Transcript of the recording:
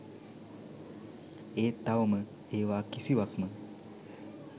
ඒත් තවම ඒවා කිසිවක්ම